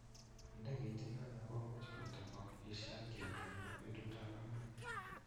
Ndeget inano komuch koit ta ko ishakian eng petut ap akwang